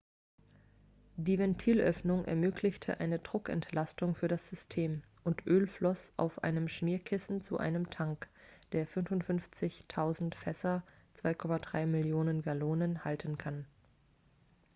die ventilöffnung ermöglichte eine druckentlastung für das system und öl floss auf einem schmierkissen zu einem tank der 55 000 fässer 2,3 millionen gallonen halten kann